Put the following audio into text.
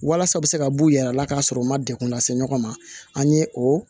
Walasa u bɛ se ka b'u yɛrɛ la k'a sɔrɔ u ma degun lase ɲɔgɔn ma an ye o